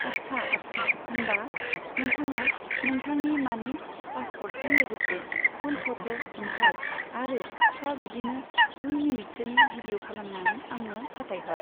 आच्चा आच्चा होमबा नोंथाङा नोंथांनि माने पासपर्टजों लोगोसे फुल फट', ओमफ्राय आरो फिसा बिदिनो दुइ मिनिटसोनि भिदिअ' खालामनानै आंनो फाथायहर।